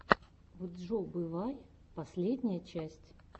вджобывай последняя часть